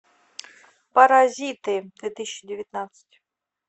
паразиты две тысячи девятнадцать